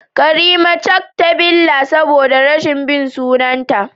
karimat cak ta billa saboda rashin bin sunanta